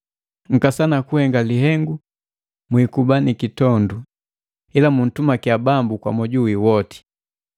Nkasana kuhenga lihengu mwikuba nikitondu ila muntumakia Bambu kwa moju wi woti.